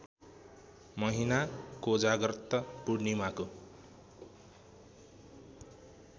महिना कोजाग्रत पूर्णिमाको